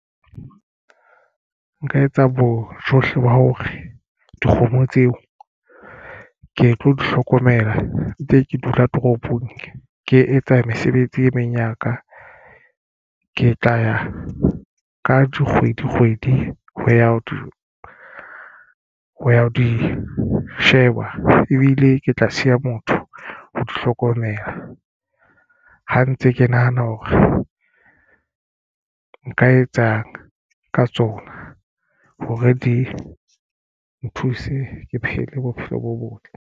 Nka etsa bojohle ba hore dikgomo tseo ke tlo di hlokomela ntse ke dula toropong. Ke etsa mesebetsi e meng ya ka ke tla ya ka kgwedi kgwedi ho ya ho ya ho di sheba ebile ke tla siya motho o di hlokomela ha ntse ke nahana hore nka etsang ka tsona hore di nthuse ke phele bophelo bo botle.